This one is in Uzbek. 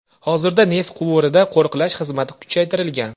Hozirda neft quvurida qo‘riqlash xizmati kuchaytirilgan.